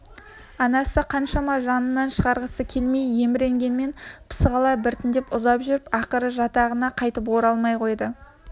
анасы қаншама жанынан шығарғысы келмей еміренгенмен пысық ала біртіндеп ұзап жүріп ақыры жатағына қайтып оралмай қойды